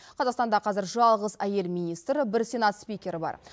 қазақстанда қазір жалғыз әйел министр бір сенат спикері бар